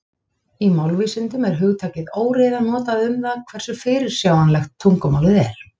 Í málvísindum er hugtakið óreiða notað um það hversu fyrirsjáanlegt tungumálið er.